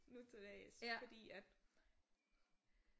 Nutildags fordi at